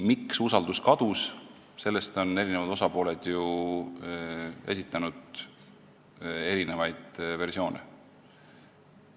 Miks usaldus kadus, selle kohta on eri osapooled esitanud erinevaid versioone.